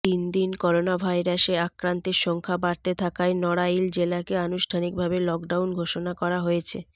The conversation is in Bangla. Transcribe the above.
দিন দিন করোনাভাইরাসে আক্রান্তের সংখ্যা বাড়তে থাকায় নড়াইল জেলাকে আনুষ্ঠানিকভাবে লকডাউন ঘোষণা করা হয়েছে